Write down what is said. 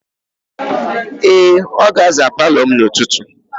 Ee, ọ ga-aza palọ m n'ụtụtụ.